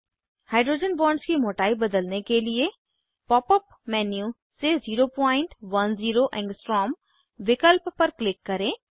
hydrogen bonds की मोटाई बदलने के लिए पॉप अप मेन्यू से 010 आ विकल्प पर क्लिक करें